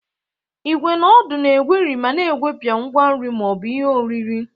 Igwé na ódu na-egweri ma na-egwepịa ngwa nri ma ọ bụ ihe oriri.